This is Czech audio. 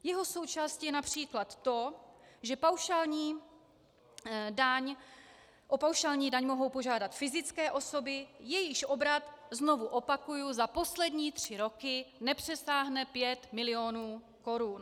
Jeho součástí je například to, že o paušální daň mohou požádat fyzické osoby, jejichž obrat, znovu opakuji, za poslední tři roky nepřesáhne 5 milionů korun.